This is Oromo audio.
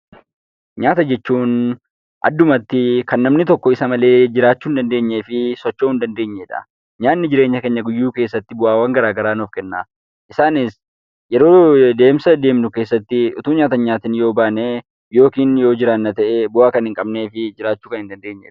Nyaata jechuun addumatti kan namni tokko isa melee jiraachuu hin dandeenyee fi socho'uu hin dandeenyee dha. Nyaanni jireenya keenya guyyuu keessatti bu'aawwan garaagaraa nuuf kenna. Isaanis yeroo deemsa deemnu keessatti utuu nyaata hin nyaatin yoo baane, yookiin yoo jiraanna ta'ee, bu'aa kan hin qabnee fi jiraachuu kan hin dandeenyee dha.